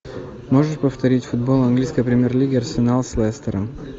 можешь повторить футбол английской премьер лиги арсенал с лестером